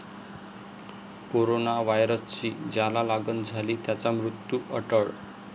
Corona व्हायरसची ज्याला लागण झाली त्याचा मृत्यू अटळ?